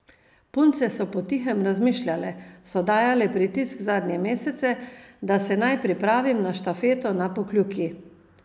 Punce so po tihem razmišljale, so dajale pritisk zadnje mesece, da se naj pripravim na štafeto na Pokljuki.